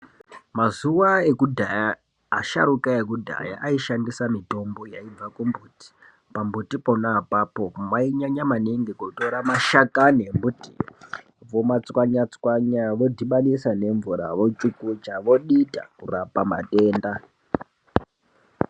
Mazuwa ekudhaya asharuka ekudhaya aishandisa mitombo yaibva kumbuti. Pambuti pona apapo vainyanya maningi kutora mashakani embuti vomatswanya tswanya vodhibanisa nemvura vochukucha vodita kurapa matenda.